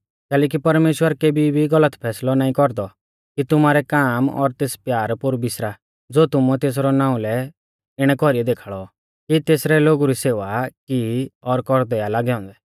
कैलैकि परमेश्‍वर केबी भी गलत फैसलौ नाईं कौरदौ कि तुमारै काम और तेस प्यार पोरु बिसरा ज़ो तुमुऐ तेसरै नाऊं लै इणै कौरीऐ देखाल़ौ कि तेसरै लोगु री सेवा की और कौरदै आ लागै औन्दै